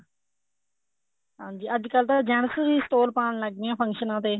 ਹਾਂਜੀ ਅੱਜਕਲ ਤਾਂ gents ਵੀ stole ਪਾਉਣ ਲੱਗ ਗਏ ਫੰਕਸ਼ਨਾ ਤੇ